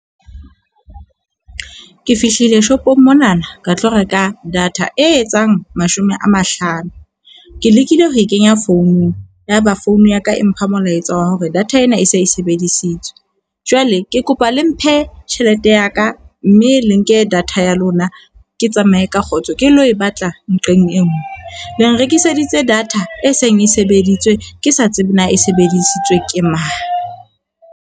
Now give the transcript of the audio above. Ke fihlile shopong monana, ka tlo reka data e etsang mashome a mahlano. Ke lekile ho e kenya founung. Yaba founu ya ka e mpha molaetsa wa hore data ena e se e sebedisitswe. Jwale, ke kopa le mphe tjhelete ya ka mme le nke data ya lona. Ke tsamaye ka kgotso ke lo e batla nqeng e nngwe. Le nrekiseditse data e seng e sebedisitswe ke sa tsebe na e sebedisitswe ke mang.